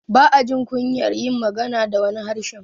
ba ajin kunyar yin magana da wani harshen